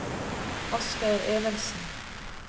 Asgeir Evensen